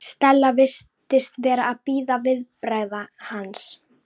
Stella virtist vera að bíða viðbragða hans.